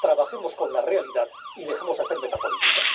Trabajemos con la realidad y dejemos de hacer metapolítica.